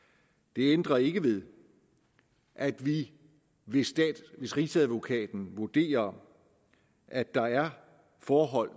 det ændrer ikke ved at vi hvis rigsadvokaten vurderer at der er forhold